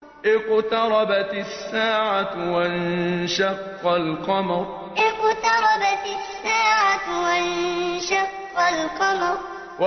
اقْتَرَبَتِ السَّاعَةُ وَانشَقَّ الْقَمَرُ اقْتَرَبَتِ السَّاعَةُ وَانشَقَّ الْقَمَرُ